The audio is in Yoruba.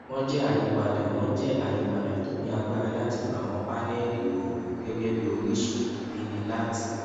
wón jé àyípadà wón jé àyípadà tó ní agbára láti lo àwọn paneli oorun gẹgẹ bí orísun ìbíni láti